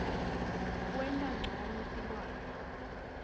kwenta ncono tilwane